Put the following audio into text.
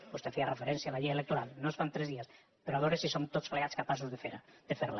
vostè feia referència a la llei electoral no es fa amb tres dies però a veure si som tots plegats capaços de fer la